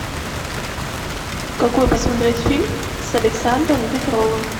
какой посмотреть фильм с александром петровым